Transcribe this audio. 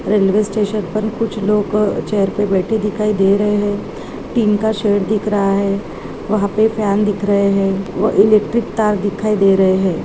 Railway station पर कुछ लोग चेयर पे बैठे दिखाई दे रहे है टीन का शेड दिख रहा है वहाँ पे फैन दिख रहे है व इलेक्ट्रिक तार दिखाई दे रहे हैं।